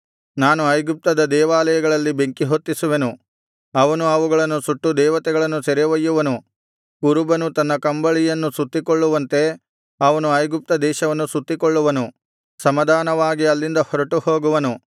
ನಾನು ಐಗುಪ್ತದ ದೇವಾಲಯಗಳಲ್ಲಿ ಬೆಂಕಿಹೊತ್ತಿಸುವೆನು ಅವನು ಅವುಗಳನ್ನು ಸುಟ್ಟು ದೇವತೆಗಳನ್ನು ಸೆರೆ ಒಯ್ಯುವನು ಕುರುಬನು ತನ್ನ ಕಂಬಳಿಯನ್ನು ಸುತ್ತಿಕೊಳ್ಳುವಂತೆ ಅವನು ಐಗುಪ್ತ ದೇಶವನ್ನು ಸುತ್ತಿಕೊಳ್ಳುವನು ಸಮಾಧಾನವಾಗಿ ಅಲ್ಲಿಂದ ಹೊರಟು ಹೋಗುವನು